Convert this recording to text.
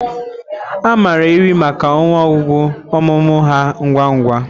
A maara ewi maka ọnụ ọgụgụ ọmụmụ ha ngwa ngwa